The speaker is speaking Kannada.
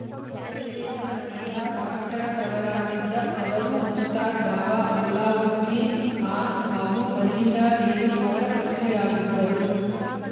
ಮಧ್ಯಪ್ರದೇಶದ ಮೈಹಾರ್‌ ಪಟ್ಟಣದವರಾಗಿದ್ದ ಅವರು ಉಸ್ತಾದ್‌ ಬಾಬಾ ಅಲ್ಲಾವುದ್ದೀನ್‌ ಕಾನ್‌ ಹಾಗೂ ಮದೀನಾ ಬೇಗಂ ಅವರ ಪುತ್ರಿಯಾಗಿದ್ದರು